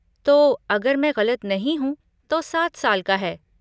तो अगर मैं गलत नहीं हूँ, तो सात साल का है।